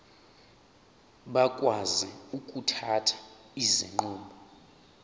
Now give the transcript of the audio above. bakwazi ukuthatha izinqumo